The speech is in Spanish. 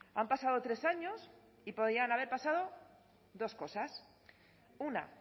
han pasado tres años y podían haber pasado dos cosas una